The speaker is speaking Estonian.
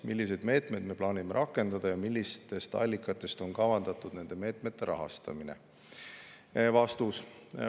Milliseid meetmeid me plaanime rakendada ja millistest allikatest on kavandatud nende meetmete rahastamine?